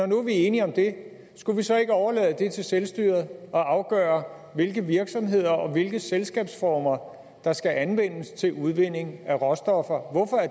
nu er enige om det skulle vi så ikke overlade det til selvstyret at afgøre hvilke virksomheder og hvilke selskabsformer der skal anvendes til udvinding af råstoffer